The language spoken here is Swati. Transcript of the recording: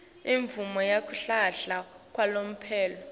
imvumo yekuhlala kwalomphelo